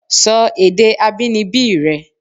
Sọ èdè abínibí rẹ!